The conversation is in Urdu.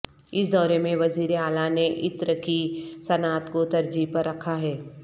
اس دورے میں وزیر اعلی نے عطر کی صنعت کو ترجیح پر رکھا ہے